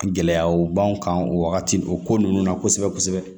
Gɛlɛyaw b'an kan o wagati o ko ninnu na kosɛbɛ kosɛbɛ